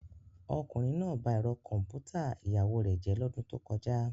Ọkùnrin náà ba ẹ̀rọ kọ̀m̀pútà ìyàwó rẹ̀ jẹ́ lọ́dún tó kọjá.